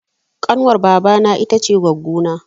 Ƙanwar baba na ita ce goggo